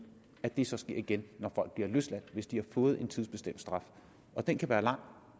at det så sker igen når folk bliver løsladt hvis de har fået en tidsbestemt straf den kan være lang